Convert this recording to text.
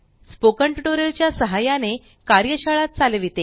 spoken tutorial च्या सहाय्याने कार्यशाळा चालविते